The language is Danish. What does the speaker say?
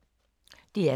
DR K